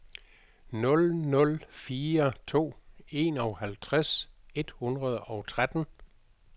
nul nul fire to enoghalvtreds et hundrede og tretten